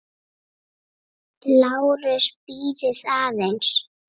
LÁRUS: Bíðið aðeins!